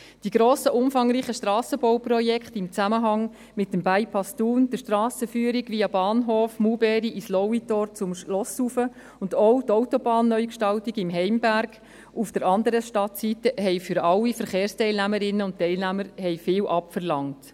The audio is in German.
Die grossen, umfangreichen Strassenbauprojekte im Zusammenhang mit dem Bypass Thun, mit der Strassenführung via Bahnhof, Maulbeerplatz und Lauitor zum Schloss hinauf und auch mit der Autobahnneugestaltung im Heimberg auf der anderen Stadtseite haben allen Verkehrsteilnehmerinnen und -teilnehmern viel abverlangt.